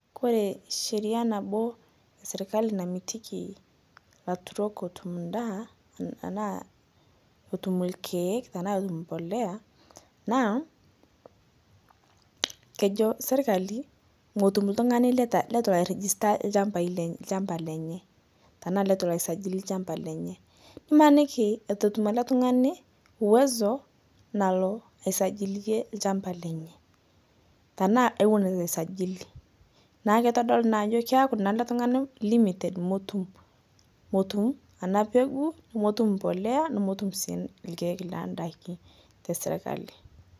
Kore ensheria naboo namitikii laturok etum ndaa anaa etum lkeek anaa etum mpolea naa, kejo sirkalii motum ltung'ani letu elo ai register lshampa lenyee tanaa letu elo aisajilii lshampa lenyee. Imaniki etu etum ale tung'ani uwezo nalo aisajiliyee lshampa lenyee tanaa ewon etu eisajili naaku keitodoluu naa ajo keaku naa ale tungani limited motum ana peguu nomotum mpolea nomotum sii lkeek lendakii tesirkalii.